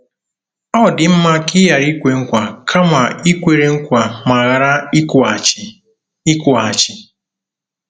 Ọ dị mma ka i ghara ikwe nkwa kama i kwere nkwa ma ghara ịkwụghachi. ” ịkwụghachi. ”